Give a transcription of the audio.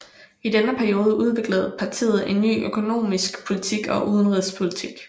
I denne periode udviklede partiet en ny økonomisk politik og udenrigspolitik